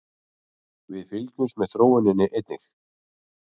Við fylgjumst með þróuninni einnig